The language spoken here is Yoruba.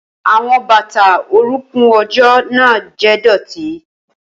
Awọn bata orunkun ojo naa jẹ idọti.